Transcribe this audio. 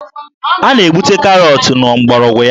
A na-egbute Karọtụ na mgbọrọgwụ ya